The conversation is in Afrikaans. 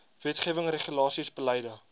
wetgewing regulasies beleide